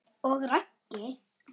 Og Raggi?